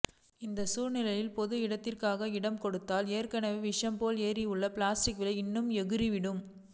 இந்த சூழ்நிலையில் பொது இடத்துக்காக இடம் கொடுத்தால் ஏற்கனவே விஷம் போல் ஏறி உள்ள பிளாட் விலை இன்னும் எகுரிவிடும்